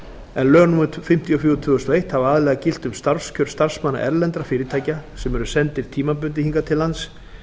en lög númer fimmtíu og fjögur tvö þúsund og eitt hafa aðallega gilt um starfskjör starfsmanna erlendra fyrirtækja sem eru sendir tímabundið hingað til lands